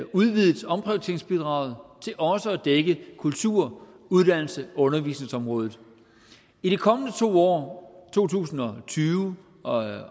udvidet omprioriteringsbidraget til også at dække kultur uddannelses og undervisningsområdet i de kommende to år to tusind og tyve og